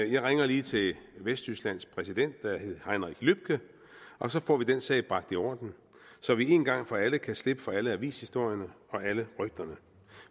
jeg ringer lige til vesttysklands præsident heinrich lübke og så får vi den sag bragt i orden så vi en gang for alle kan slippe for alle avishistorierne og alle rygterne